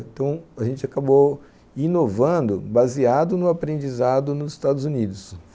Então a gente acabou inovando, baseado no aprendizado nos Estados Unidos.